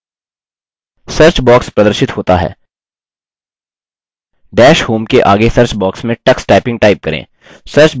search box प्रदर्शित होता है डैश होम के आगे सर्च बॉक्स में tux typing टाइप करें